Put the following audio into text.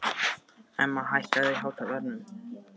Emma, hækkaðu í hátalaranum.